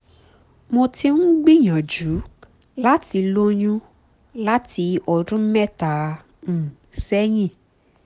mo ti ń gbìyànjú láti lóyún láti ọdún mẹ́ta um sẹ́yìn